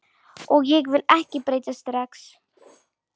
Og ég vil ekki breytast strax.